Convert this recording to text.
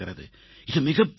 இது மிகப்பெரிய வேலை